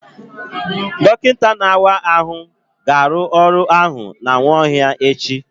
Dọkịta na-awa ahụ ga-arụ ọrụ ahụ na Nwaohia echi.